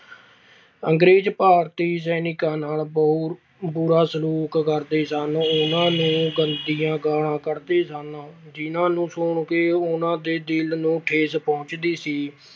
ਅੰਗਰੇਜ਼ ਭਾਰਤੀ ਸੈਨਿਕਾਂ ਨਾਲ ਬੁਰਾ ਸਲੂਕ ਕਰਦੇ ਸਨ। ਉਨ੍ਹਾਂ ਨੂੰ ਗੰਦੀਆਂ ਗਾਲ੍ਹਾਂ ਕੱਢਦੇ ਸਨ, ਜਿਨ੍ਹਾਂ ਨੂੰ ਸੁਣ ਕੇ ਉਨ੍ਹਾਂ ਦੇ ਦਿਲ ਨੂੰ ਠੇਸ ਪਹੁੰਚਦੀ ਸੀ।